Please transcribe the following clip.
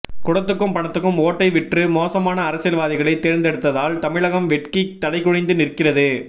குடத்துக்கும் பணத்துக்கும் ஓட்டை விற்று மோசமான அரசியல்வாதிகளை தேர்ந்தெடுத்ததால் தமிழகம் வெட்கி தலைகுனிந்து நிற்கிறது